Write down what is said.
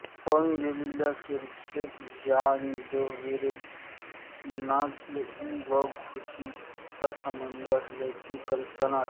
होऊन गेलेल्या सुश्रुत या आयुर्वेदाचार्यांना प्लेगाचा व घुशींचा संबंध असल्याची कल्पना असावी